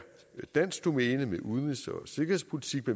dansk domæne med udenrigs og sikkerhedspolitik